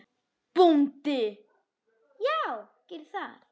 BÓNDI: Já, gerið það.